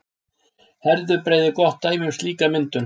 Herðubreið er gott dæmi um slíka myndun.